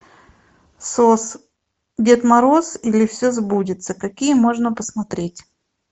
сос дед мороз или все сбудется какие можно посмотреть